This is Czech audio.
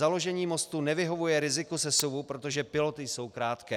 Založení mostu nevyhovuje riziku sesuvu, protože piloty jsou krátké.